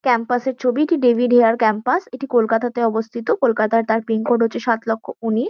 Campus -এর ছবি। এটি ডেভিড হেয়ার ক্যাম্পাস এটি কলকাতাতে অবস্থিত। কলকাতার তার পিনকোড হচ্ছে সাতলক্ষ উনিশ।